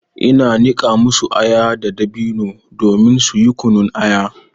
Ina niƙa masu aya da dabino domin suyi kunun aya.